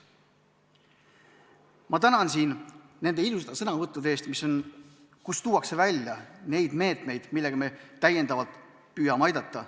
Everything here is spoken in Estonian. Ma tänan nende sõnavõttude eest, milles on välja toodud need meetmed, millega me püüame aidata.